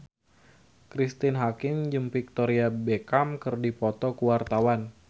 Cristine Hakim jeung Victoria Beckham keur dipoto ku wartawan